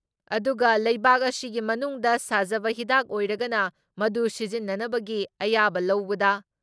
ꯑꯗꯨꯒ ꯂꯩꯕꯥꯛ ꯑꯁꯤꯒꯤ ꯃꯅꯨꯡꯗ ꯁꯥꯖꯕ ꯍꯤꯗꯥꯛ ꯑꯣꯏꯔꯒꯅ ꯃꯗꯨ ꯁꯤꯖꯤꯟꯅꯅꯕꯒꯤ ꯑꯌꯥꯕ ꯂꯧꯕꯗ